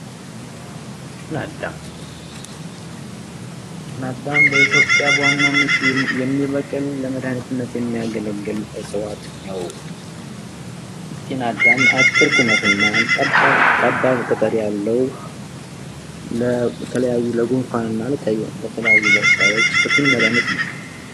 ጤና አዳም፤ ጤና አዳም በኢትዮጵያ ዋናነት የሚበቅል ለመዳኒትንት የሚያገለግል እጽዋት ነው፡፡ ጤና አዳም አጭር ቁመት እና ሰፋ ያለ ቅጠል ሲኖረው ለተለያዩ ለጉንፋንና የተለያዩ በሽታዎች ፍቱን መዳኒት ነው፡፡